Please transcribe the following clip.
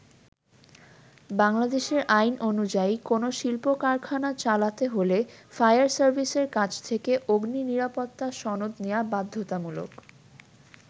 বাংলাদেশের আইন অনুযায়ী কোন শিল্প-কারখানা চালাতে হলে ফায়ার সার্ভিসের কাছ থেকে অগ্নি নিরাপত্তা সনদ নেয়া বাধ্যতামূলক।